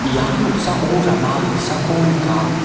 ia noksao rama dilsako nika.